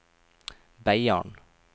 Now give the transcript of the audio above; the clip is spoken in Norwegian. Beiarn